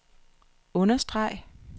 understreg